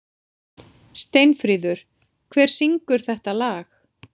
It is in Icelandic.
Steinfríður, hver syngur þetta lag?